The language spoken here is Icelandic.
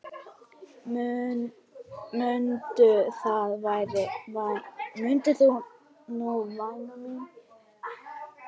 Mundu það nú væni minn.